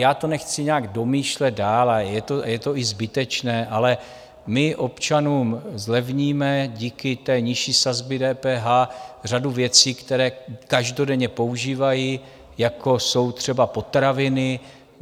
Já to nechci nějak domýšlet dál a je to i zbytečné, ale my občanům zlevníme díky té nižší sazbě DPH řadu věcí, které každodenně používají, jako jsou třeba potraviny.